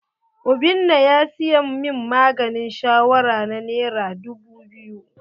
Obinna ya siyan min maganin shawara na nera dubu biyu.